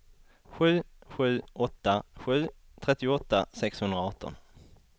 sju sju åtta sju trettioåtta sexhundraarton